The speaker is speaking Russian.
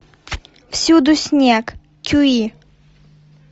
всюду снег кюи